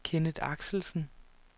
Kenneth Axelsen